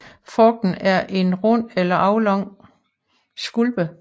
Frugten er en rund eller aflang skulpe